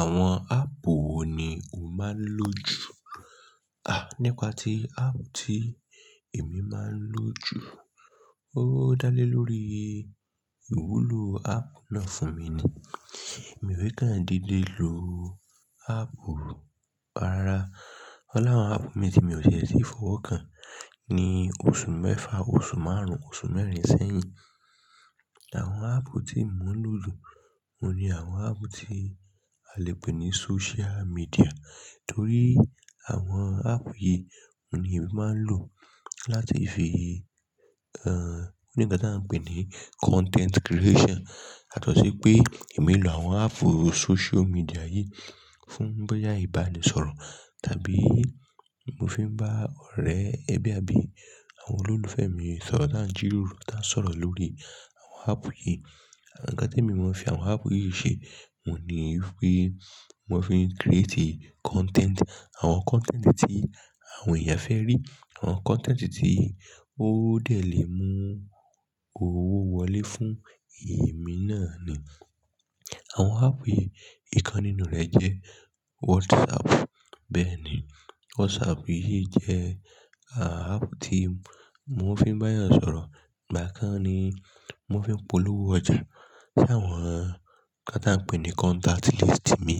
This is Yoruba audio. Àwọn áàpù wo ni o máa ń lò jù? À, nípa ti áàpù tí èmi máa ń lò jù. Ó dá lé lórí ìwúlò áàpù náà fún mi ni. Èmi e kan dídé lò áàpù, rárá. Ọ̀ la àwọn áàpù mi tí mi ò ti e fọwọ́ kan ní oṣù mẹ́fa, oṣù márùn-ún, oṣù mẹ́rin sẹ́yìn. Àwọn áàpù tí mò ń lò jù, òun ni àwọn áàpù tí a lè pè ní social media. Torí àwọn áàpù yìí, òun ni èmi máa ń lò láti fi, ẹ́ nǹkan tí à ń pè ní content creation. Yàtọ̀sí pé èmi lò àwọn áàpù social media yìí fún bóyá ìbánisọ̀rọ̀ tàbí mò fi ń bá ọ̀rẹ́ ẹbí àbí àwọn olólùfẹ́ mi sọ̀rọ̀ tá ń jíròrò, tá ń sọ̀rọ̀ lórí àwọn áàpù yìí. Ǹkan tí èmi máa ń fi àwọn áàpù yìí ṣe, òun ni wípé mò ń fi ń create content. Àwọn content tí àwọn èèyàn fẹ́ rí, àwọn content tí ó dẹ̀ lè mú owó wọlé fún èmi náà ni. Àwọn áàpù yìí, ìkan nínú rẹ̀ jẹ́ WhatsApp. Bẹ́ẹ̀ ni, WhatsApp yìí jẹ́ ààpù tí mò ń fi bá èèyàn sọ̀rọ̀. Ìgbà kan ni mò fi ń polówó ọjà. Tí àwọn, ǹkan tá ń pè ní contact list mi